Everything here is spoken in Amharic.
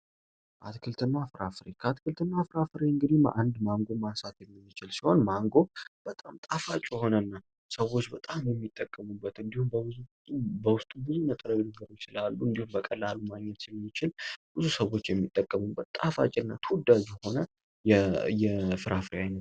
ትክልትና ፍራፍሬ ከአትክልትና ማንጎ በጣም ጣፋጭ ሆነና ሰዎች በጣም የሚጠቀሙበት እንዲሁም በብዙ በውስጥ በቀላሉ ብዙ ሰዎች የሚጠቀሙበት የፍራፍ ሬ አይነት ነው።